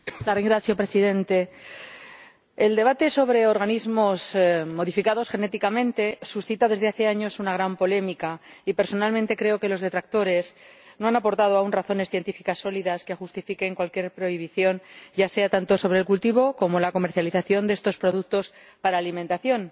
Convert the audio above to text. Señor Presidente, el debate sobre organismos modificados genéticamente suscita desde hace años una gran polémica y, personalmente, creo que los detractores no han aportado aún razones científicas sólidas que justifiquen cualquier prohibición, ya sea tanto sobre el cultivo como sobre la comercialización de estos productos para alimentación,